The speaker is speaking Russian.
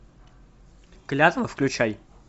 клятва включай